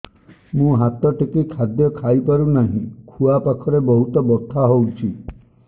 ମୁ ହାତ ଟେକି ଖାଦ୍ୟ ଖାଇପାରୁନାହିଁ ଖୁଆ ପାଖରେ ବହୁତ ବଥା ହଉଚି